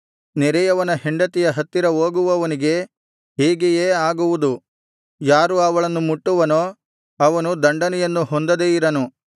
ನೆರೆಯವನ ಹೆಂಡತಿಯ ಹತ್ತಿರ ಹೋಗುವವನಿಗೆ ಹೀಗೆಯೇ ಆಗುವುದು ಯಾರು ಅವಳನ್ನು ಮುಟ್ಟುವನೋ ಅವನು ದಂಡನೆಯನ್ನು ಹೊಂದದೇ ಇರನು